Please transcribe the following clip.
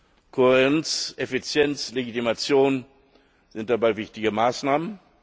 Kohärenz, Effizienz, Legitimation sind dabei wichtige Maßnahmen.